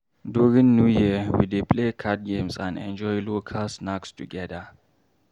During New Year, we dey play card games and enjoy local snacks together.